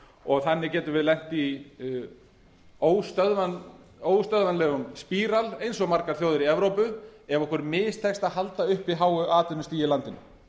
og þannig getum við lent í óstöðvanlegum spíral eins og margar þjóðir í evrópu ef okkur mistekst að halda uppi háu atvinnustigi í landinu